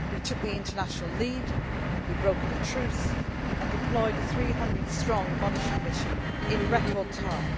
We took the international lead, we brokered a truce and deployed a 300 strong monitoring mission in record